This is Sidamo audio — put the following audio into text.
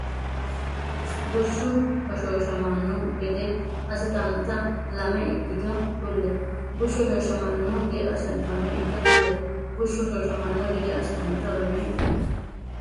Bushshu hoshooshamanno gede assitannota lame ikkito kulle Bushshu hoshooshamanno gede assitannota lame ikkito kulle Bushshu hoshooshamanno gede assitannota lame ikkito.